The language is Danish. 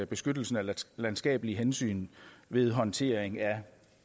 beskyttelsen af landskabelige hensyn ved håndtering af